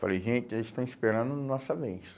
Falei, gente, eles estão esperando a nossa vez.